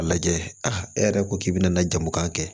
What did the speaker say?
A lajɛ e yɛrɛ ko k'i bɛna na jamu kan kɛ